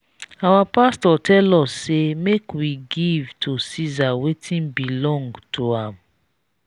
our pastor tell us say make we give to ceasar wetin belong to am.